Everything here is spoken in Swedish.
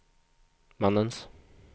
mannens